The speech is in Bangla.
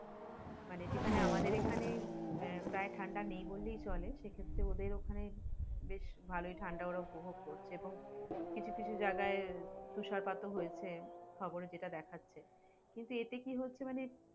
মানে যেখানে আমাদের এখানে, প্রয় ঠান্ডা নেই বললে চলে সেক্ষেত্রে ওদের ওখানে, বেশ ভালো ঠান্ডা ওরা উপভোগ করছে এবং কিছু কিছু জায়গায় তুষারপাত ও হইছে খবরে সেইটা দেখাচ্ছে, কিন্তু এতে কি হচ্ছে মানে